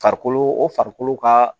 Farikolo o farikolo ka